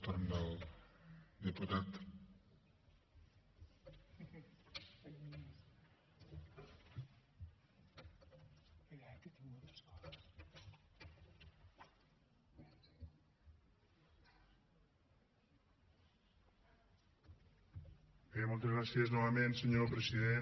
bé moltes gràcies novament senyor president